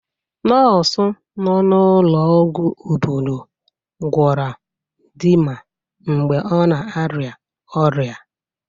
Nọọsụ nọ n'ụlọọgwụ obodo gwọra dinma mgbe ọ na-arịa ọrịa.